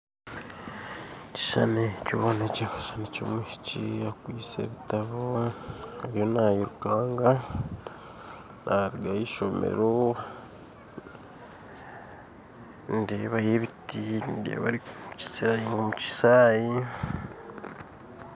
Ekishushani ekyo nikyoreka ekishushani ky'omwishiki akwitse ebitabo ariyo nayirukanga naruga aheishomero nindeebayo ebiti ndeeba arikusayunga omukishayi.